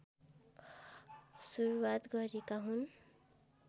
सुरूवात गरेका हुन्